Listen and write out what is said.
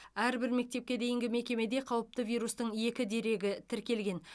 әрбір мектепке дейінгі мекемеде қауіпті вирустың екі дерегі тіркелген